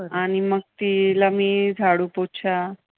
आणि मग मी तिला झाडू पोछा